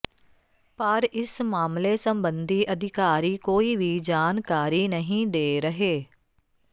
ਪਰ ਇਸ ਮਾਮਲੇ ਸਬੰਧੀ ਅਧਿਕਾਰੀ ਕੋਈ ਵੀ ਜਾਣਕਾਰੀ ਨਹੀਂ ਦੇ ਰਹੇ